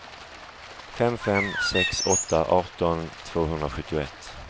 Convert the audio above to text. fem fem sex åtta arton tvåhundrasjuttioett